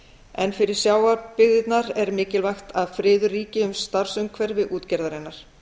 en fyrir sjávarbyggðirnar er mikilvægt að friður ríki um starfsumhverfi útgerðarinnar